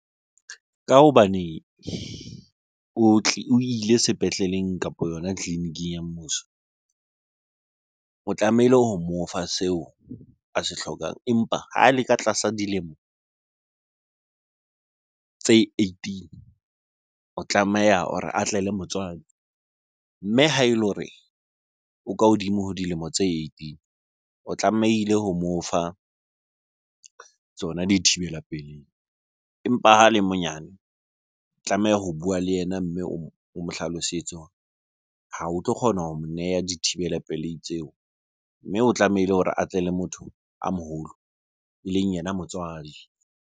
Ka hobane o ile sepetleleng kapo yona tleliniking ya mmuso. O tlamehile ho mo fa seo a se hlokang. Empa ha le ka tlasa dilemo tse eighteen, o tlameha hore atle le motswadi. Mme ha ele hore o ka hodimo ho dilemo tse eighteen, o tlamehile ho mo fa tsona dithibela pelehi. Empa ha le monyane, tlameha ho bua le yena mme o mo hlalosetse hore ha o tlo kgona ho mo neha dithibela pelei tseo. Mme o tlamehile hore a tle le motho a moholo eleng yena motswadi.